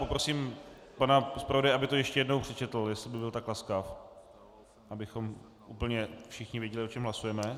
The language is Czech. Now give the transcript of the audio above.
Poprosím pana zpravodaje, aby to ještě jednou přečetl, jestli by byl tak laskav, abychom úplně všichni věděli, o čem hlasujeme.